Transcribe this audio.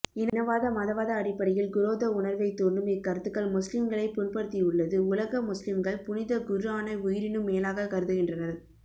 இனவாத மதவாத அடிப்படையில் குரோத உணர்வைத்தூண்டும் இக்கருத்துக்கள் முஸ்லிம்களை புண்படுத்தியுள்ளது உலக முஸ்லிம்கள் புனித குர்ஆனை உயிரினும் மேலாக கருதுகின்றனர்